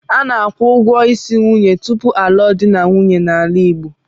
A na-akwụ ụgwọ isi nwunye tupu a lụọ di na nwunye n'ala Igbo.